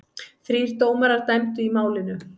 Þrír dómarar dæmdu í málinu.